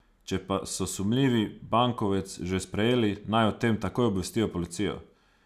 Če pa so sumljivi bankovec že sprejeli, naj o tem takoj obvestijo policijo.